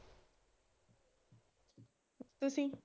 ਤੁਸੀ?